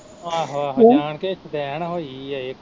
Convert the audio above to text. ਆਹੋ ਆਹੋ ਜਾਣ ਕੇ ਸਦੈਣ ਹੋਈ ਆ ਇਹ।